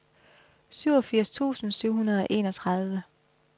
syvogfirs tusind syv hundrede og enogtredive